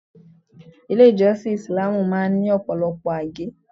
Ilé ìjọsìn Isìláámù máa ń ní Ọ̀pọ̀lọpọ̀ àgé.